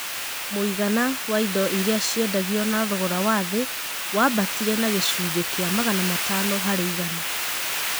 M?igana wa indo iria ciendagio na thogora wa th? wambatire na g?cunj? k?a magana matano har? igana